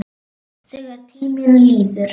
Þegar tíminn líður